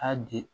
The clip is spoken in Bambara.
Aa di